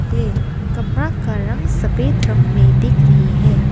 हे कमरा का रंग सफेद रंग में दिख रही है।